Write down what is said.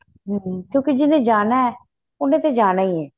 ਹਮ ਕਿਉਂਕਿ ਜਿਹਨੇ ਜਾਣਾ ਏ ਉਹਨੇ ਤਾਂ ਜਾਣਾ ਹੀ ਏ